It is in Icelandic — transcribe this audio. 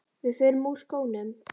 Við förum úr skónum.